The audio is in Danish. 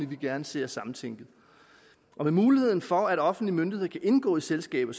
vi gerne ser samtænkt med muligheden for at offentlige myndigheder kan indgå i selskaber